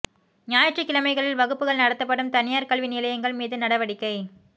ஞாயிற்றுக்கிழமைகளில் வகுப்புகள் நடத்தப்படும் தனியார் கல்வி நிலையங்கள் மீது நடவடிக்கை